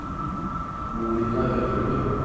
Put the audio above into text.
Monika Øvrebø